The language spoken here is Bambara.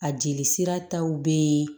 A jelisira taw be yen